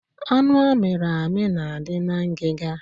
Anụ a miri amị na adị na ngiga